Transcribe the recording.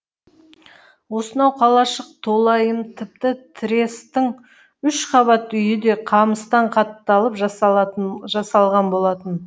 осынау қалашық толайым тіпті трестің үш қабат үйі де қамыстан қатталып жасалған болатын